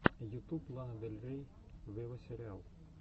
ютуб лана дель рей вево сериал